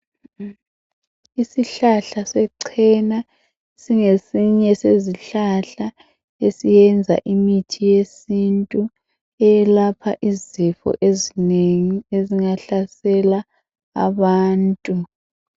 Isihlahla se cena singesinye sezihlahla esiyenza imithi yesintu eyelapha izifo ezinengi ezingahlasela abantu.